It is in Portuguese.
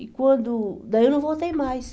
E quando, daí eu não voltei mais.